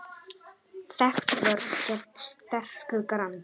Þekkt vörn gegn sterku grandi.